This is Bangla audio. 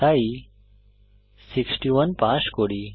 তাই 61 পাস করি